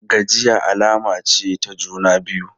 Gajiya alama ce ta juna biyu.